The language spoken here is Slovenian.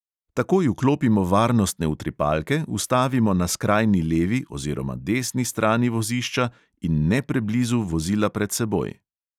Takoj vklopimo varnostne utripalke, ustavimo na skrajni levi oziroma desni strani vozišča in ne preblizu vozila pred seboj.